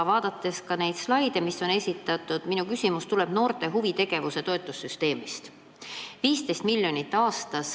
Vaatasin ka esitatud slaide ja minu küsimus tuleb noorte huvitegevuse toetussüsteemi kohta.